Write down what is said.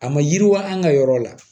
A ma yiriwa an ka yɔrɔ la